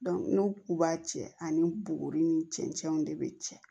n'u k'u b'a cɛ ani bugu ni cɛncɛnw de bɛ cɛ